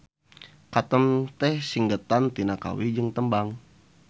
Katem teh singgetan tina kawih jeung tembang.